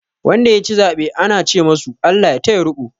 Wanda ya ci zaɓe ana ce masu "ALLAH ya taya riko".